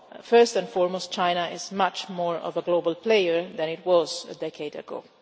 First and foremost, China is much more of a global player than it was a decade ago.